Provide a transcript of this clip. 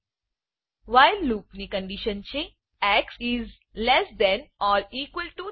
while loop while લુપની condition છે x is less than or equal to 10